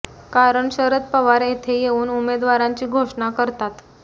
कारण शरद पवार येथे येवून उमेदवारांची घोषणा करतात